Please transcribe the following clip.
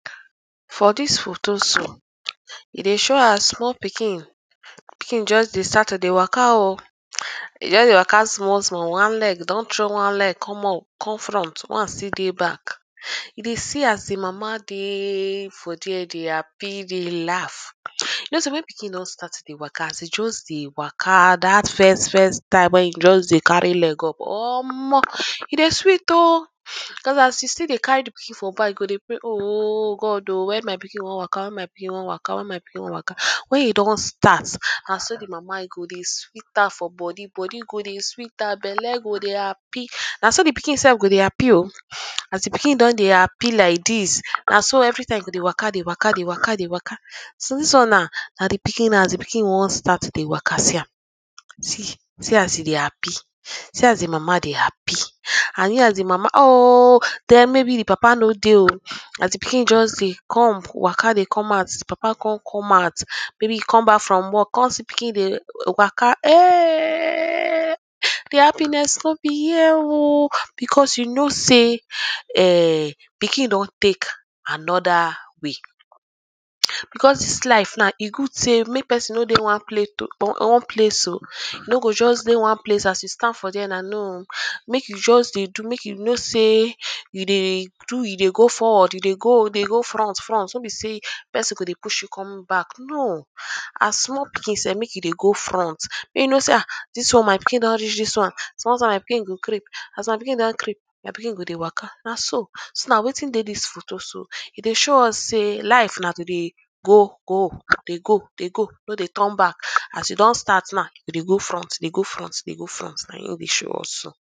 for dis photo so e dey show as small pikin pikin just dey start to de waka um e just de waka smallsmall one leg don throw one leg come up come front one still dey back e dey see as de mama dey for dia dey happy dey laugh you know sey when pikin don start to dey waka as e just dey waka dat firstfirst time wey e just dey carry leg up um e dey sweet um cause as you still dey carry de pikin for back you go dey pray um God [um]wen my pikin one waka wen my pikin one waka wen my pikin one waka wen e don start na so de mama e go dey sweet her for bodi bodi go dey sweet her belle go dey happy naso de pikin sef go dey happy o as de pikin don dey happy like dis naso everytime e go dey waka dey waka dey waka dey waka so dis one naw na de pikin as de pikin one start to dey waka see am see see as e dey happy see as de mama dey happy and hear as de mama o den maybe de papa no dey o as de pikin just dey come dey waka dey come out de papa come come out maybe e come back from work come see pikin dey waka um de happiness no be here o because you know sey um pikin don take anoda wey because dis life naw e good sey make person no dey one plate o one place o e no go just dey one place as you stand for dia na no o make you just dey do make you know sey you dey do you dey go forward you dey go dey go frontfront no be sey person go dey push you come back no as small pikin sef make you dey go front make you no sey um dis one my pikin don reach dis one small time my pikin go creep as my pikin don creep my pikin go dey waka naso so na wetin dey dis photo so e dey show us sey life na to dey go go dey go dey go no dey turn back as you don start naw dey go front dey go front dey go front na him wey show us so